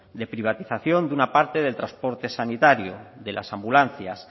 de privatización de una parte del transporte sanitario de las ambulancias